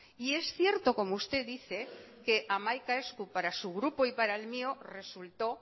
y es cierto como usted dice que hamaika esku para su grupo y para el mío resultó